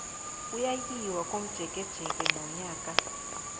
kuyayiwa komjekejeke nonyaka